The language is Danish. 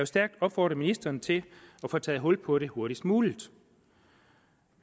stærkt opfordre ministeren til at få taget hul på det hurtigst muligt